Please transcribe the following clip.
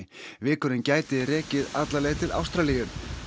vikurinn gæti rekið alla leið til Ástralíu